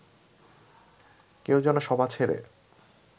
কেউ যেন সভা ছেড়ে